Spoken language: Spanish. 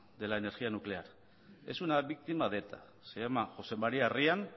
de la energía nuclear es una víctima de eta se llama josé maría ryan